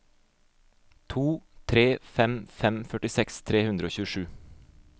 to tre fem fem førtiseks tre hundre og tjuesju